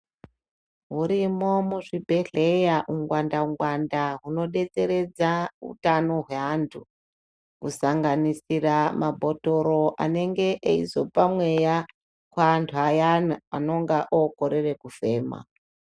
Hurimo muzvibhedhleya ungwanda ngwanda hunodetseredza utano hweantu. Kusananganisira mabhotoro anenge eizopa mweya kuantu ayana anonga okorera kufema.